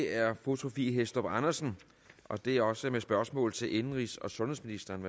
er fru sophie hæstorp andersen og det er også med spørgsmål til indenrigs og sundhedsministeren